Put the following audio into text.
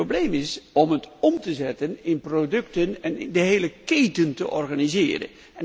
Probleem is om het om te zetten in producten en de hele keten te organiseren.